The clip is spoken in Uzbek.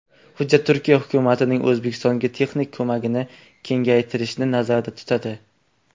Hujjat Turkiya hukumatining O‘zbekistonga texnik ko‘magini kengaytirishni nazarda tutadi.